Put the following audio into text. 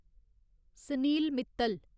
Sanil Mittal